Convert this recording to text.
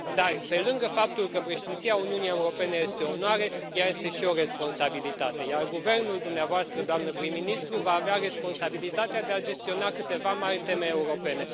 Dar, pe lângă faptul că Președinția Uniunii Europene este o onoare, ea este și o responsabilitate, iar guvernul dumneavoastră, doamnă prim ministru, va avea responsabilitatea de a gestiona câteva mari teme europene.